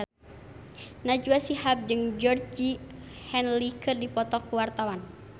Najwa Shihab jeung Georgie Henley keur dipoto ku wartawan